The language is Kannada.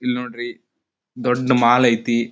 ಇಲ್ಲಿ ನೋಡ್ರಿ ದೊಡ್ಡ್ ಮಾಲ್ ಐತಿ.